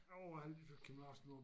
Jo har lige hørt Kim Larsen på